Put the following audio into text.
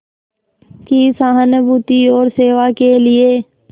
की सहानुभूति और सेवा के लिए